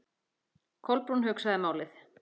Kolbrún hugsaði málið.